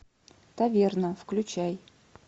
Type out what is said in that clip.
таверна включай